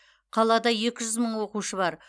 қалада екі жүз мың оқушы бар